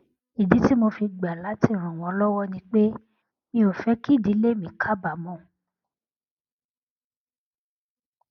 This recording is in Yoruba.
ìdí tí mo fi gbà láti ràn wón lówó ni pé mi ò fé kí ìdílé mi kábàámò